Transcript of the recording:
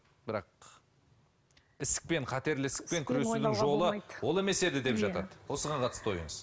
бірақ ісікпен қатерлі ісікпен күресудің жолы ол емес еді деп жатады осыған қатысты ойыңыз